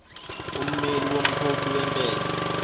ummeli womkhokhi wentela